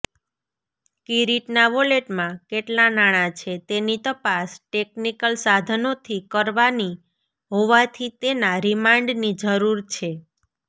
કિરીટના વોલેટમાં કેટલા નાણાં છે તેની તપાસ ટેક્નિકલ સાધનોથી કરવાની હોવાથી તેના રિમાન્ડની જરૂર છે